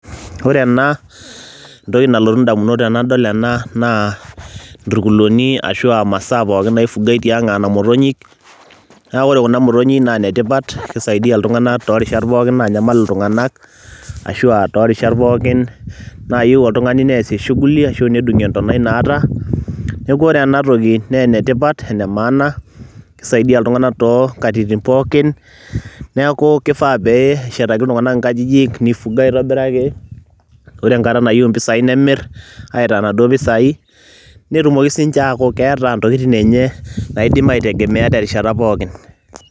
Ore ena entoki nalotu ndamunot naa nturkuluni ashu a masaa pookin naifugai tiang' aa nena motonyik. Neeku ore kuna motonyik naa ine tipat kisaidia iltung'anak too rishat pookin naanyamal iltung'anak ashu a torishat pookin nayeu oltung'ani neesie shughuli ashu nedung'ie entonai naata. Neeku ore ena toki nee ene tipat ene maana, kisaidia iltung'anak too nkatitin pookin. Neeku kifaa pee eshetaki iltung'anak inkajijik, nifuga aitobiraki, ore enkata nayeu impisai nemir aitaa naduo pisai, netumoki siinje aaku keeta ntokitin enye naidim aitegemea terishata pookin.